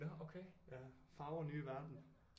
Nå okay fagre nye verden